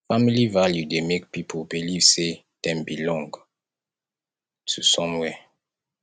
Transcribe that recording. family value dey make pipo believe sey dem belong to somewhere